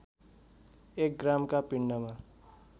एक ग्रामका पिण्डमा